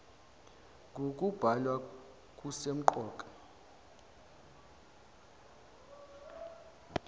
ng okubhalwa kusemqoka